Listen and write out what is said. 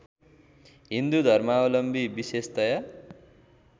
हिन्दू धर्मावलम्बी विशेषतया